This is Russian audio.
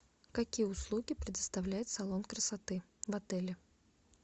какие услуги предоставляет салон красоты в отеле